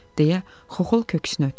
deyə Xoxol köksünü ötürdü.